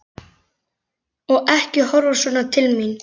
Og ekki horfa svona til mín!